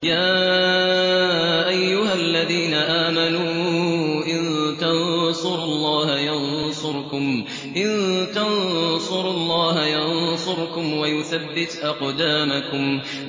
يَا أَيُّهَا الَّذِينَ آمَنُوا إِن تَنصُرُوا اللَّهَ يَنصُرْكُمْ وَيُثَبِّتْ أَقْدَامَكُمْ